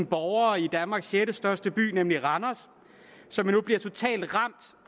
borgere i danmarks sjettestørste by nemlig randers som nu bliver totalt ramt